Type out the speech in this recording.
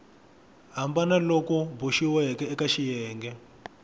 hambana loku boxiweke eka xiyenge